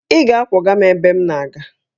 Ị ga-akwọga m ebe m na-aga!